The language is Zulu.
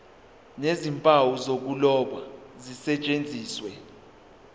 nezimpawu zokuloba zisetshenziswe